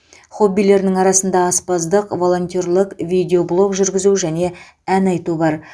хоббилерінің арасында аспаздық волонтерлік видеоблог жүргізу және ән айту бар